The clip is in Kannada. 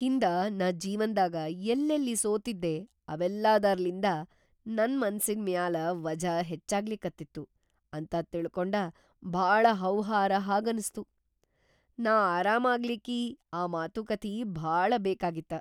ಹಿಂದ ನಾ ಜೀವನ್ದಾಗ ಯಲ್ಲೆಲ್ಲಿ ಸೋತಿದ್ದೆ ‌ಅವೆಲ್ಲಾದರ್ಲಿಂದ ನನ್ ಮನಸಿನ್‌ ಮ್ಯಾಲ್‌ ವಜ್ಝ ಹೆಚ್ಚಾಗ್ಲಿಕತ್ತಿತ್ತು ಅಂತ ತಿಳಕೊಂಡ ಭಾಳ ಹೌಹಾರ ಹಾಗನಸ್ತು. ನಾ ಆರಾಮಾಗ್ಲಿಕ್ಕಿ ಆ ಮಾತುಕಥಿ ಭಾಳ ಬೇಕಾಗಿತ್ತ.